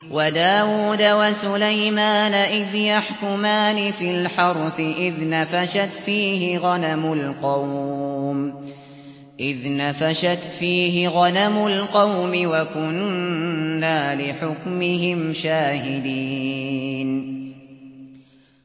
وَدَاوُودَ وَسُلَيْمَانَ إِذْ يَحْكُمَانِ فِي الْحَرْثِ إِذْ نَفَشَتْ فِيهِ غَنَمُ الْقَوْمِ وَكُنَّا لِحُكْمِهِمْ شَاهِدِينَ